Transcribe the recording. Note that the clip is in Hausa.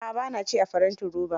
A'a ba na ci a farantin roba.